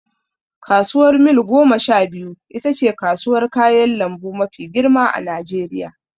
Kasuwar mil gomasha biyu itace kasuwar kayan lambu mafi girma a najeriya